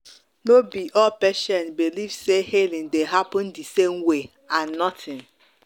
no be all patients believe say healing dey happen the same way and nothing.